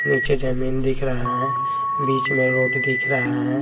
नीचे जमीन दिख रहा है बीच में रोड दिख रहा है।